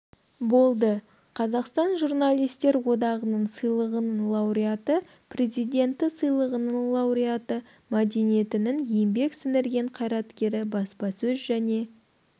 болды қазақстан журналистер одағының сыйлығының лауреаты президенті сыйлығының лауреаты мәдениетінің еңбек сіңірген қайраткері баспасөз және